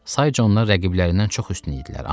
Sayca onlar rəqiblərindən çox üstün idilər,